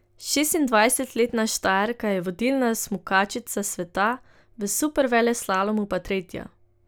Šestindvajsetletna Štajerka je vodilna smukačica sveta, v superveleslalomu pa tretja.